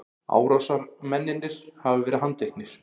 Árásarmennirnir hafa verið handteknir